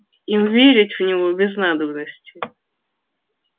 им верить в него без надобности